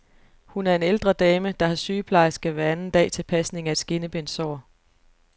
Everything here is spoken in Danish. Hun er en ældre dame, der har sygeplejerske hver anden dag til pasning af et skinnebenssår.